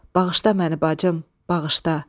Bağışla məni, bacım, bağışla!